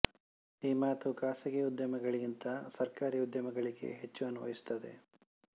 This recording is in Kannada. ಈ ಮಾತು ಖಾಸಗಿ ಉದ್ಯಮಗಳಿಗಿಂತ ಸರ್ಕಾರಿ ಉದ್ಯಮಗಳಿಗೆ ಹೆಚ್ಚು ಅನ್ವಯಿಸುತ್ತದೆ